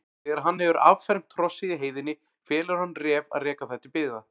Þegar hann hefur affermt hrossið í heiðinni felur hann Ref að reka það til byggða.